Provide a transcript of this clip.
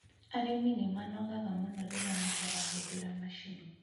Arĩmi nĩmanogaga mũno rĩrĩa matarahũthĩra macini